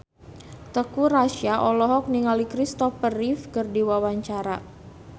Teuku Rassya olohok ningali Kristopher Reeve keur diwawancara